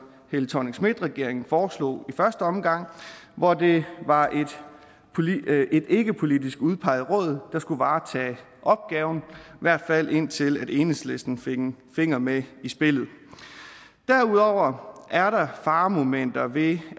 helle thorning schmidt regeringen foreslog i første omgang hvor det var et ikkepolitisk udpeget råd der skulle varetage opgaven i hvert fald indtil enhedslisten fik en finger med i spillet derudover er der faremomenter ved